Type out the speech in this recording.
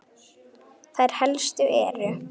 Þær helstu eru